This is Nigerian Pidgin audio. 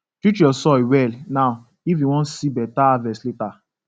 treat your soil well now if you wan see better harvest later